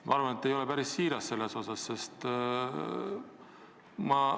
Ma arvan, et te ei ole selles osas päris siiras.